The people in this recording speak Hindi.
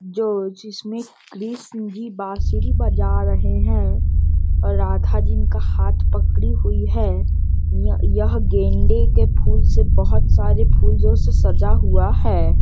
जो जिसमे कृष्ण ही बांसुरी बजा रहे हैं और राधा जिनका हाथ पकड़ी हुई है | ये यह गेंदे के फूल से बहुत सारे फूलो से सजा हुआ है |